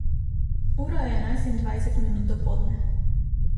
Ura je enajst in dvajset minut dopoldne.